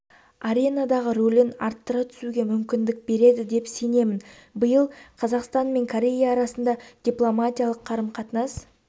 аренадағы рөлін арттыра түсуге мүмкіндік береді деп сенемін биыл қазақстан мен корея арасында дипломатиялық қарым-қатынас